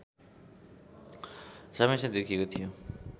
समस्या देखिएको थियो